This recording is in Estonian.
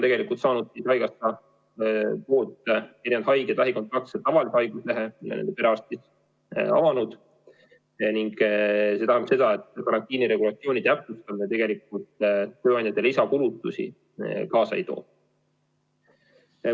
Tegelikult ongi lähikontaktsed haigekassalt saanud tavalise haiguslehe, mille on perearstid avanud, ning see tähendab seda, et karantiiniregulatsiooni täpsustamine tööandjatele lisakulutusi kaasa ei too.